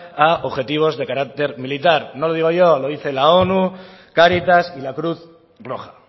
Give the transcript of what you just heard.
a objetivos de carácter militar no lo digo yo lo dice la onu cáritas y la cruz roja